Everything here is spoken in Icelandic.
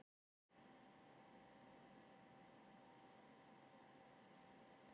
Þetta er eitthvað fyrir vísindamenn til að skoða.